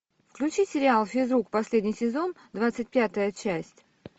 включи сериал физрук последний сезон двадцать пятая часть